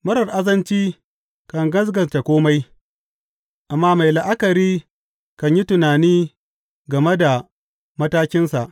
Marar azanci kan gaskata kome, amma mai la’akari kan yi tunani game da matakinsa.